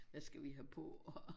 Hvad skal vi have på og